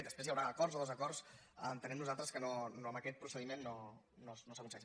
després hi haurà acords o desacords entenem nosaltres que amb aquest procediment no s’aconsegueix